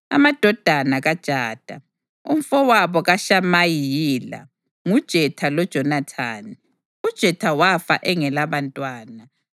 Amadodana kaJada, umfowabo kaShamayi yila: nguJetha loJonathani. UJetha wafa engelabantwana.